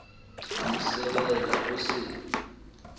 a mo sebela o se